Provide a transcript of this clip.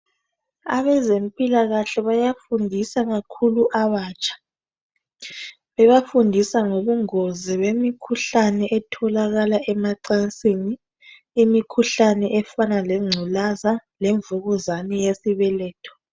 Abezempilakahle bayafundisa kakhulu abatsha bebafundisa ngobungozi bemikhuhlane etholalakala emacansini. Imikhuhlane efana lengculaza lemvukuzane yesibeletho